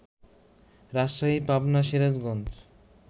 Rajshahi, Pabna, Sirajganj